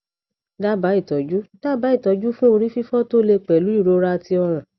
daba itoju daba itoju fun ori fifo to le pelu irora ti ọrùn